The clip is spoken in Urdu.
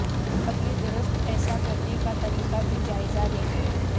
اب یہ درست ایسا کرنے کا طریقہ بھی جائزہ لیں